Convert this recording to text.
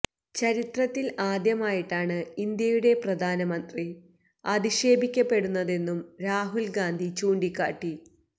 ചരിത്രത്തില് ആദ്യമായിട്ടാണ് ഇന്ത്യയുടെ പ്രധാനമന്ത്രി അധിക്ഷേപിക്കപ്പെടുന്നതെന്നും രാഹുല് ഗാന്ധി ചൂണ്ടിക്കാട്ടി